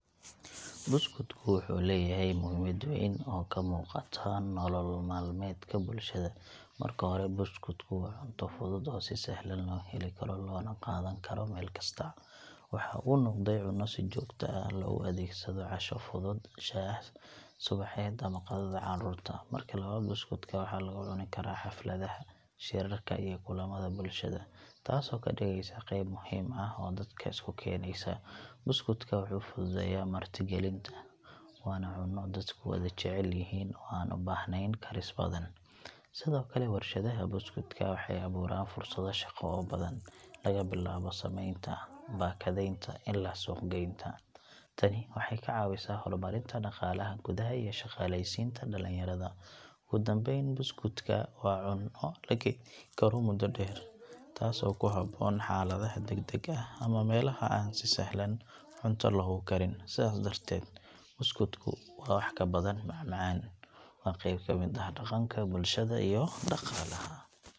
Buskudku wuxuu leeyahay muhiimad weyn oo ka muuqata nolol maalmeedka bulshada. Marka hore, buskudku waa cunto fudud oo si sahlan loo heli karo, loona qaadan karo meel kasta. Waxa uu noqday cunno si joogto ah loogu adeegsado casho fudud, shaah subaxeed ama qadada carruurta. Marka labaad, buskudka waxaa lagu cuni karaa xafladaha, shirarka, iyo kulamada bulshada, taasoo ka dhigaysa qeyb muhiim ah oo dadka isku keenaysa. Buskudka wuxuu fududeeyaa martigelinta, waana cunno dadku wada jecel yihiin oo aan u baahnayn karis badan. Sidoo kale, warshadaha buskudka waxay abuuraan fursado shaqo oo badan, laga bilaabo samaynta, baakadaynta ilaa suuq-geynta. Tani waxay ka caawisaa horumarinta dhaqaalaha gudaha iyo shaqaalaysiinta dhalinyarada. Ugu dambayn, buskudka waa cunno la kaydin karo muddo dheer, taasoo ku habboon xaaladaha degdega ah ama meelaha aan si sahlan cunto loogu karin. Sidaas darteed, buskudku waa wax ka badan macmacaan; waa qeyb ka mid ah dhaqanka, bulshada iyo dhaqaalaha.